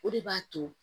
O de b'a to